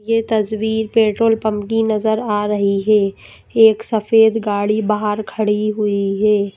ये तस्वीर petrol pump की नज़र आ रही है एक सफेद गाड़ी बाहर खड़ी हुई है।